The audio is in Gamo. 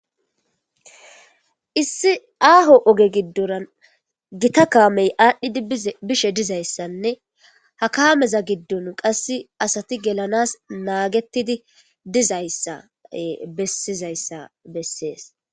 issi aaho oge giddoran gita kaamey aadhdhidi bishe dizayssanne ha kaameza giddon qasse asati gelanas naagettidi dizayssa bessizayssa bessees